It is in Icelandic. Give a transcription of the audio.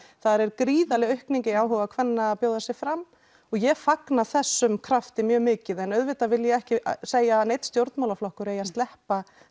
þar er gríðarleg aukning í áhuga kvenna að bjóða sig fram og ég fagna þessum krafti mjög mikið en auðvitað vil ég ekki segja að neinn stjórnmálaflokkur eigi að sleppa